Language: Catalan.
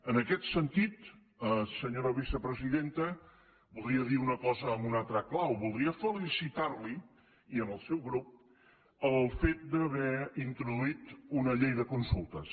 en aquest sentit senyora vicepresidenta voldria dir una cosa en una altra clau voldria felicitar la i al seu grup pel fet d’haver introduït una llei de consultes